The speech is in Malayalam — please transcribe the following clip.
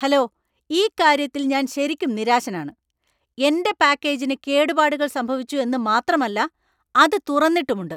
ഹലോ, ഈ കാര്യത്തിൽ ഞാൻ ശരിക്കും നിരാശനാണ്. എന്‍റെ പാക്കേജിന് കേടുപാടുകൾ സംഭവിച്ചു എന്ന് മാത്രമല്ല, അത് തുറന്നിട്ടുമുണ്ട് !